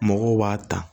Mɔgɔw b'a ta